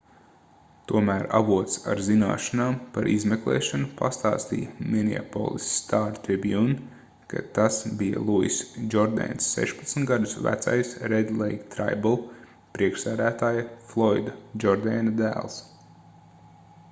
tomēr avots ar zināšanām par izmeklēšanu pastāstīja ¨minneapolis star-tribune¨ ka tas bija luiss džordēns 16 gadus vecais ¨red lake tribal¨ priekšsēdētāja floida džordēna dēls